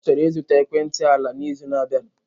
Ọ chọrọ ịzụta ekwentị ala n'izu na-abịa.